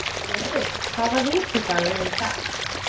Jörri, hvaða vikudagur er í dag?